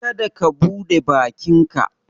ka da ka bude bakinka